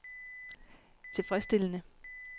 tilfredsstillende